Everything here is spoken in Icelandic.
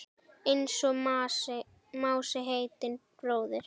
Einsog Mási heitinn bróðir.